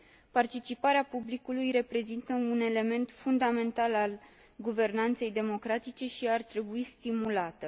Participarea publicului reprezintă un element fundamental al guvernanței democratice și ar trebui stimulată.